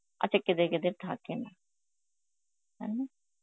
আচ্ছা কেদে কেদের থাকেনা. তাই না?